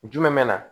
Jumɛn bɛ na